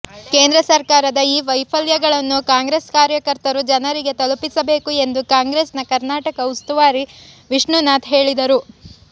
ಕೇಂದ್ರ ಸರಕಾರದ ಈ ವೈಫಲ್ಯಗಳನ್ನು ಕಾಂಗ್ರೆಸ್ ಕಾರ್ಯಕರ್ತರು ಜನರಿಗೆ ತಲುಪಿಸಬೇಕು ಎಂದು ಕಾಂಗ್ರೆಸ್ನ ಕರ್ನಾಟಕ ಉಸ್ತುವಾರಿ ವಿಷ್ಣುನಾಥ ಹೇಳಿದರು